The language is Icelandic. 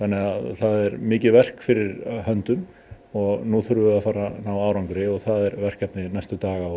það er mikið verk fyrir höndum og nú þurfum við að fara að ná arangri og það er verkefni næstu daga og